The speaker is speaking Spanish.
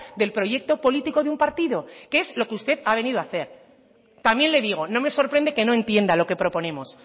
del proyecto político de un partido que es lo que usted ha venido a hacer también le digo no me sorprende que no entienda lo que proponemos